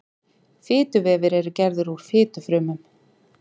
fituvefir eru gerðir úr fitufrumum